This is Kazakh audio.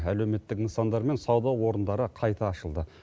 әлеуметтік нысандар мен сауда орындары қайта ашылды